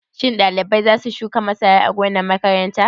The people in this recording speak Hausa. Shin ɗalibai za su shuka masara a gonar makaranta?